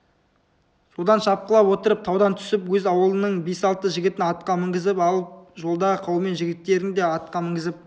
содан шапқылап отырып таудан түсіп өз аулының бес-алты жігітін атқа мінгізіп алып жолдағы қаумен жігіттерін де атқа мінгізіп